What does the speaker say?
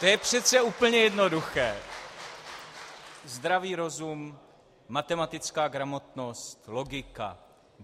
To je přece úplně jednoduché: zdravý rozum, matematická gramotnost, logika.